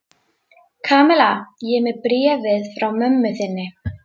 Kamilla, ég er með bréfið frá mömmu þinni.